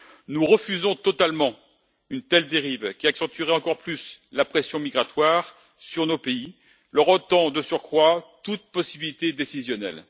Nous refusons totalement une telle dérive qui accentuerait encore plus la pression migratoire sur nos pays, leur ôtant de surcroît toute possibilité décisionnelle.